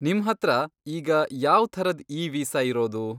ನಿಮ್ಹತ್ರ ಈಗ ಯಾವ್ ಥರದ್ ಇ ವೀಸಾ ಇರೋದು?